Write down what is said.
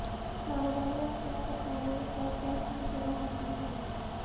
کاروباری اقسام پر قانونی اور ٹیکس مشورہ حاصل کرنا